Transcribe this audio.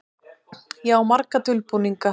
Ég á marga dulbúninga.